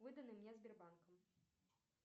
выданной мне сбербанком